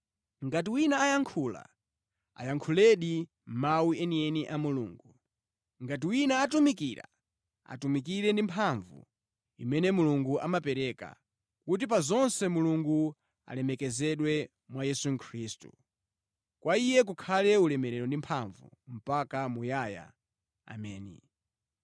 Ngati wina ayankhula, ayankhuledi mawu enieni a Mulungu. Ngati wina atumikira, atumikire ndi mphamvu imene Mulungu amapereka, kuti pa zonse Mulungu alemekezedwe mwa Yesu Khristu. Kwa Iye kukhale ulemerero ndi mphamvu mpaka muyaya, Ameni.